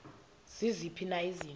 ziziphi na izinto